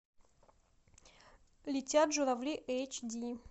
летят журавли эйч ди